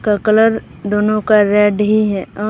का कलर दोनों का रेड ही है और--